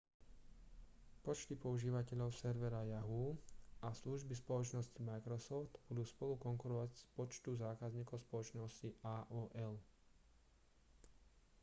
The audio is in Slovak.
počty používateľov servera yahoo a služby spoločnosti microsoft budú spolu konkurovať počtu zákazníkov spoločnosti aol